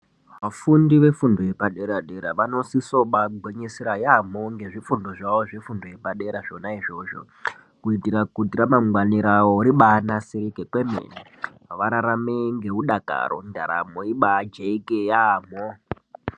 Vafundi vefundo yepadera-dera, vanosise kubaagwinyisira yaampho ngezvifundo zvawo zvefundo yepadera zvona izvozvo. Kuitire kuti ramangwani rawo ribaanasirike kwemene. Vararame ngeudakaro, ndaramo ibaajeke yaamho.